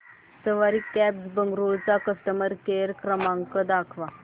सवारी cabs Bengaluru चा customer care क्रमांक दाखवा